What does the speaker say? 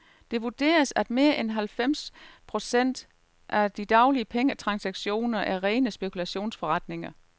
Det vurderes, at mere end halvfems procent af de daglige pengetransaktioner er rene spekulationsforretninger.